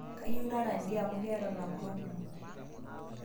Kayieu naata ldia amu ketaa lapurok kumo